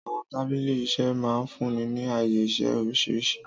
Àwọn tábìlì iṣẹ́ máa ń fúnni ní ààyè-iṣẹ́ oríṣiríṣi.